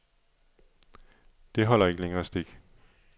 Det holder ikke længere stik.